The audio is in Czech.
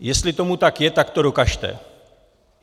Jestli tomu tak je, tak to dokažte.